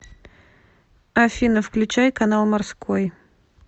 афина включай канал морской